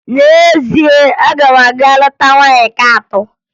N'ezie, aga m aga lụta nwaanyị nke atọ.